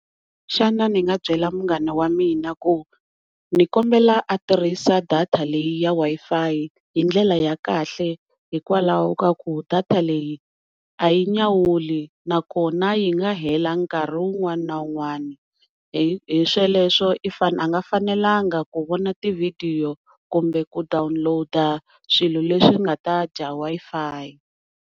Xana ni nga byela munghana wa mina ku ni kombela a tirhisa data leyi ya Wi-Fi hindlela ya kahle hikwalaho ka ku data leyi a yi nyawuli na kona yi nga hela nkarhi wun'wana na wun'wana hi sweleswo a nga fanelangi ku vona ti video kumbe ku download swilo leswi swi nga ta dya Wi-Fi.